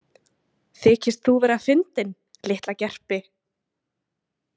Þykist þú vera fyndinn, litla gerpi?